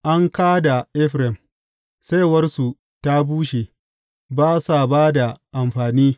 An ka da Efraim, saiwarsu ta bushe, ba sa ba da amfani.